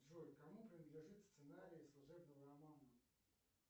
джой кому принадлежит сценарий служебного романа